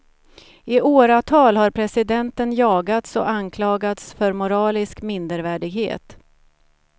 I åratal har presidenten jagats och anklagats för moralisk mindervärdighet.